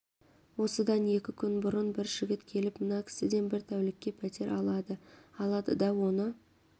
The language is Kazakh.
осыдан екі күн бұрын бір жігіт келіп мына кісіден бір тәулікке пәтер алады алады да оны